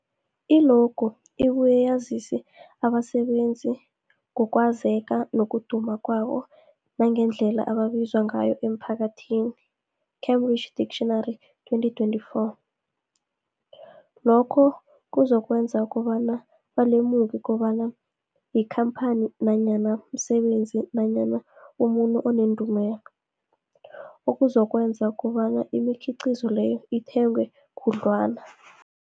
I-logo ibuye yazise abasebenzisi ngokwazeka nokuduma kwabo nangendlela abaziwa ngayo emphakathini, Cambridge Dictionary 2024. Lokho kuzokwenza kobana balemuke kobana yikhamphani nanyana umsebenzi nanyana umuntu onendumela, okuzokwenza kobana imikhiqhizo leyo ithengwe khudlwana.